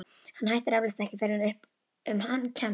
Hann hættir eflaust ekki fyrr en upp um hann kemst.